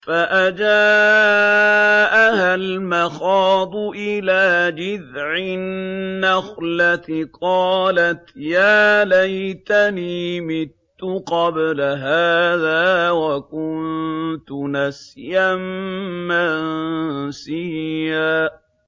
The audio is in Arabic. فَأَجَاءَهَا الْمَخَاضُ إِلَىٰ جِذْعِ النَّخْلَةِ قَالَتْ يَا لَيْتَنِي مِتُّ قَبْلَ هَٰذَا وَكُنتُ نَسْيًا مَّنسِيًّا